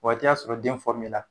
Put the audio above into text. Waati y'a sɔrɔ den la